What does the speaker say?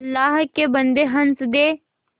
अल्लाह के बन्दे हंस दे